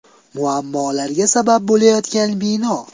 Muammolarga sabab bo‘layotgan bino.